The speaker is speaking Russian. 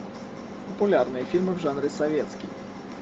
популярные фильмы в жанре советский